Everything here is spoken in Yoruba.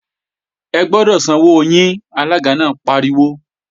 Ẹ gbọ́dọ̀ sanwó yín! Alága náà pariwo